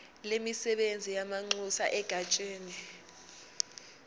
lemisebenzi yamanxusa egatsheni